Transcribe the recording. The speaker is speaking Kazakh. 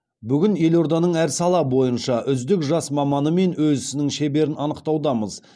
бүгін елорданың әр сала бойынша үздік жас маманы мен өз ісінің шеберін анықтаудамыз